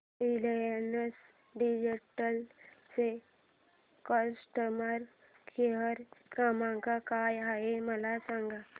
Reliance digital चा customer care क्रमांक काय आहे मला सांगा